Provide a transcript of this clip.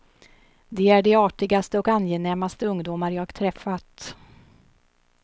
De är de artigaste och angenämaste ungdomar jag träffat.